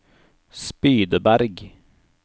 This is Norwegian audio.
Spydeberg